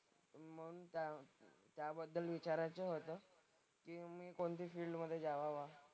त्याबद्दल विचारायचं होतं की मी कोणती फील्ड मधे जावावा.